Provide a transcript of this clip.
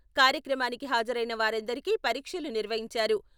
కార్యక్రమానికి హాజరైన వారందరికీ పరీక్షలు నిర్వహించారు.